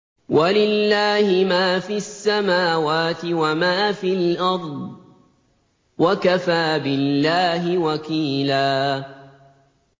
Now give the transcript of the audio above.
وَلِلَّهِ مَا فِي السَّمَاوَاتِ وَمَا فِي الْأَرْضِ ۚ وَكَفَىٰ بِاللَّهِ وَكِيلًا